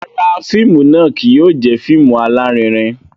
Rárá, fíìmù náà kìí yóò jẹ fíìmù alarinrin